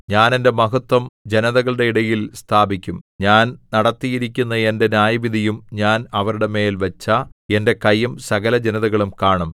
ഞാൻ എന്റെ മഹത്വം ജനതകളുടെ ഇടയിൽ സ്ഥാപിക്കും ഞാൻ നടത്തിയിരിക്കുന്ന എന്റെ ന്യായവിധിയും ഞാൻ അവരുടെ മേൽ വച്ച എന്റെ കയ്യും സകലജനതകളും കാണും